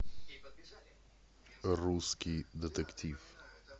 русский детектив